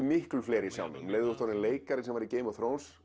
miklu fleiri sjá mig um leið og þú ert orðinn leikari í Game of